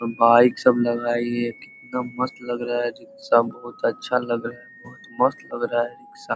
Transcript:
दो बाइक सब लगाई है एकदम मस्त लग रहा है रिक्शा बहुत अच्छा लग रहा है बहुत मस्त लग रहा है रिक्शा ।